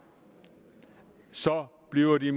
bliver de